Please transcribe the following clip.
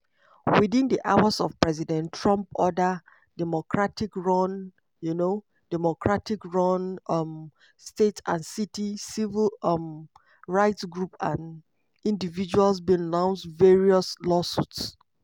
within hours of president trump order democratic-run um democratic-run um states and cities civil um rights groups and individuals bin launce various lawsuits.